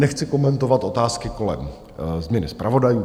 Nechci komentovat otázky kolem změny zpravodajů.